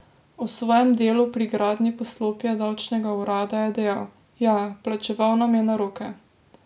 O svojem delu pri gradnji poslopja davčnega urada je dejal: "Ja, plačeval nam je na roke.